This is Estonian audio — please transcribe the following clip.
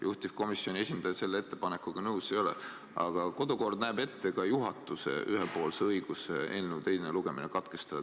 Juhtivkomisjoni esindaja selle ettepanekuga nõus ei ole, aga kodukord näeb ette ka juhatuse ühepoolse õiguse eelnõu teine lugemine katkestada.